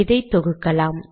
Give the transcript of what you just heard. இதை தொகுக்கலாம்